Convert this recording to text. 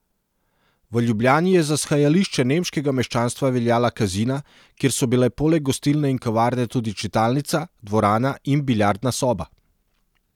V Ljubljani je za shajališče nemškega meščanstva veljala Kazina, kjer so bile poleg gostilne in kavarne tudi čitalnica, dvorana in biljardna soba.